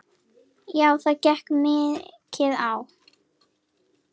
Já það gekk mikið á.